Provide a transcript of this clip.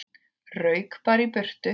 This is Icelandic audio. Rauk bara í burtu.